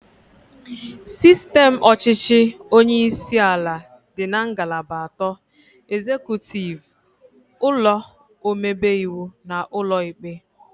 Sistem ọchịchị onyeisi ala dị ngalaba atọ, ezekutiv, ụlọ omebe iwu na ụlọ ikpe